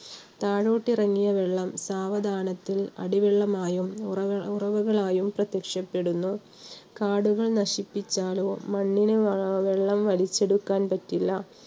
താഴോട്ടിറങ്ങിയ വെള്ളം സാവധാനത്തിൽ അടിവെള്ളമായും, ഉറവ~ഉറവകളായും ആയും പ്രത്യക്ഷപ്പെടുന്നു. കാടുകൾ നശിപ്പിച്ചാലോ മണ്ണിന് വെള്ളം വലിച്ചെടുക്കാൻ പറ്റില്ല